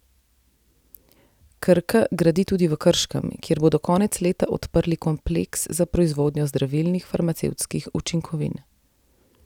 Krka gradi tudi v Krškem, kjer bodo konec leta odprli kompleks za proizvodnjo zdravilnih farmacevtskih učinkovin.